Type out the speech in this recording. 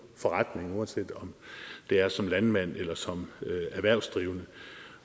forretning uanset om det er som landmand eller som erhvervsdrivende